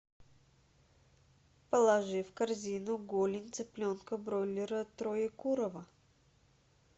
положи в корзину голень цыпленка бройлера троекурово